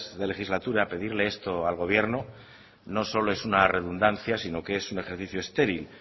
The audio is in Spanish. de legislatura pedirle esto al gobierno no solo es una redundancia sino que es un ejercicio estéril